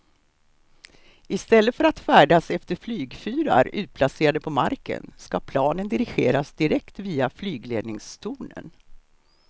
I stället för att färdas efter flygfyrar utplacerade på marken ska planen dirigeras direkt via flygledningstornen.